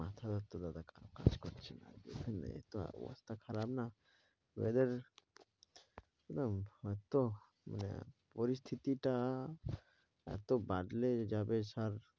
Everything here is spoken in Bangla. মাথা ব্যাথা দাদা মাথা কাজ করছে না দেখেন এতো অবস্থা খারাপ না weather এর না হইত মানে পরিস্থিতিটা এত বদলে যাবে sir